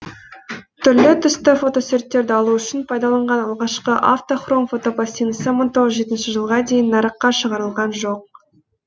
түрлі түсті фотосуреттерді алу үшін пайдаланылған алғашқы автохром фотопластинасы мың тоғыз жүз жетінші жылға дейін нарыққа шығарылған жоқ